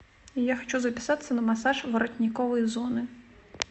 я хочу записаться на массаж воротниковой зоны